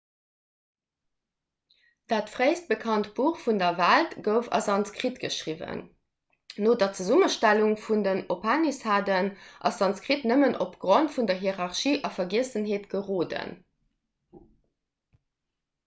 dat fréist bekannt buch vun der welt gouf a sanskrit geschriwwen no der zesummestellung vun den upanishaden ass sanskrit nëmmen opgrond vun der hierarchie a vergiessenheet geroden